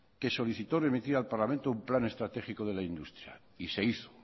que solicitó remitida al parlamento un plan estratégico de la industria y se hizo